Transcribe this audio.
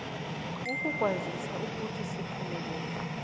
ukukwazisa ukuthi siphumelele